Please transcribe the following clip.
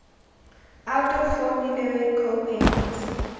out of formulary co payments